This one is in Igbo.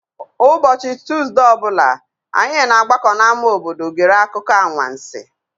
Ụbọchị Tuuzdee ọ bụla, anyị na-agbakọ n'ámá obodo gere akụkọ anwansi.